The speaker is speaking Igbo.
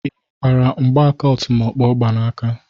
Ị hụkwara mgbaka ọtụmọkpọ ọ gba n'aka?